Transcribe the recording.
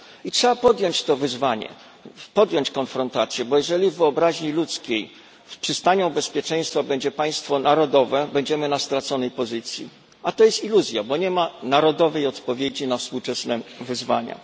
Trzeba podjąć to wyzwanie, podjąć konfrontację, bo jeżeli w wyobraźni ludzkiej przystanią bezpieczeństwa będzie państwo narodowe, to będziemy na straconej pozycji, a to jest iluzja, bo nie ma narodowej odpowiedzi na współczesne wyzwania.